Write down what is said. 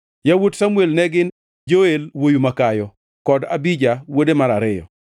Yawuot Samuel ne gin: Joel wuowi makayo, kod Abija, wuode mar ariyo.